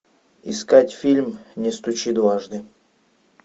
искать фильм не стучи дважды